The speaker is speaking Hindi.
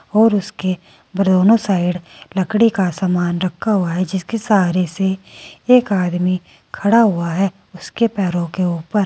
और उसके बरोनो साइड लकड़ी का सामान रखा हुआ है जिसके सहारे से एक आदमी खड़ा हुआ है उसके पैरों के ऊपर।